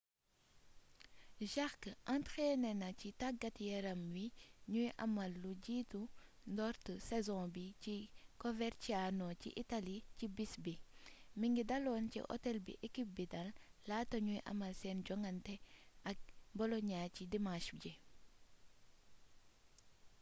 jarque entrainé na ci tàggat-yaram wi ñuy amal lu jiitu ndoorte saison bi ci coverciano ci italie ci bis bi mingi daloon ci hôtel bi équipe bi dal laata ñuy amal seen joŋante ak bolonia ci dimanche ji